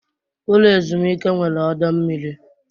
Ụlọ ezumike nwere ọdọ mmiri.